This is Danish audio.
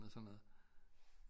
Og sådan noget